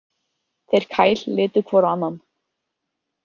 Þeir Kyle litu hvor á annan.